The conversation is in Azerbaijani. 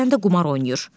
Həsən də qumar oynayır.